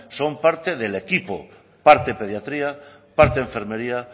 son parte del equipo parte de pediatría parte enfermería